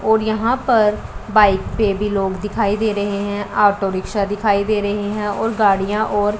और यहां पर बाइक पे भी लोग दिखाई दे रहे है। ऑटो रिक्शा दिखाई दे रहे है और गाड़ियां और --